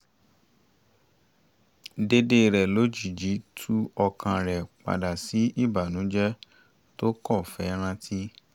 déédé rẹ̀ lójijì tú ọkàn rẹ̀ padà sí ìbànújẹ tó kọ́ fẹ́ rántí